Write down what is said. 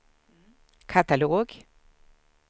katalog